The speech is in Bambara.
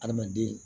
Adamaden